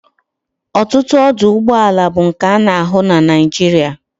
Otutu ọdụ̀ụgbọàlà bu nke a na ahu na naijiria